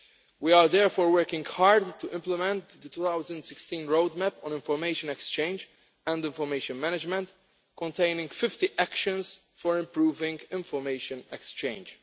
We are therefore working hard to implement the 2016 roadmap on information exchange and information management containing 50 actions for improving information exchange.